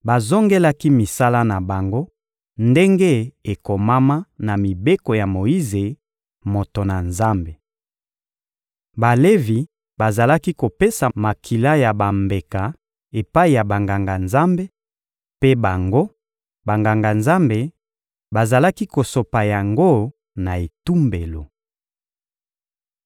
Bazongelaki misala na bango ndenge ekomama na mibeko ya Moyize, moto na Nzambe. Balevi bazalaki kopesa makila ya bambeka epai ya Banganga-Nzambe; mpe bango, Banganga-Nzambe, bazalaki kosopa yango na etumbelo.